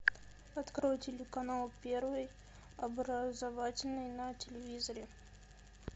открой телеканал первый образовательный на телевизоре